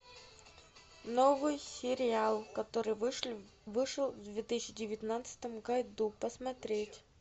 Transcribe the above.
новый сериал который вышел в две тысячи девятнадцатом году посмотреть